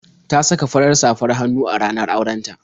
Ta saka fara safr hannu a ranar auren ta.